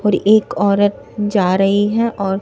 और एक औरत जा रही है और--